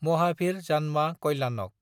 महाभिर जान्मा कल्याणक